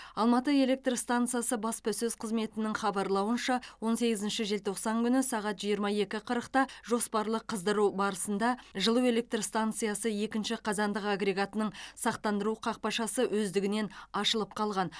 алматы электр стансасы баспасөз қызметінің хабарлауынша он сегізінші желтоқсан күні сағат жиырма екі қырықта жоспарлы қыздыру барысында жылу электр станциясы екінші қазандық агрегатының сақтандыру қақпашасы өздігінен ашылып қалған